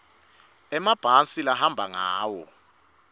emabhasi labahamba ngawo